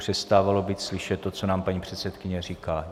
Přestávalo být slyšet to, co nám paní předsedkyně říká.